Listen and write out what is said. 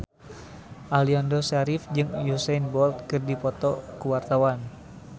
Aliando Syarif jeung Usain Bolt keur dipoto ku wartawan